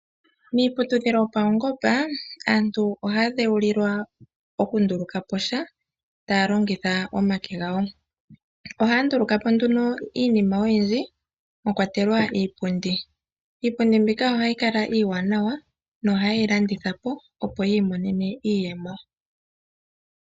Miiputudhilo yopaungomba aantu ohaya dhewulilwa okunduluka po sha taya longitha omake gawo, ohaya nduluka po nduno iinima oyindji mwakwatelwa iipundi. Iipundi mbika ohayi kala iiwanawa na ohaa yeyi landitha po opo yiimonene mo iiyemo.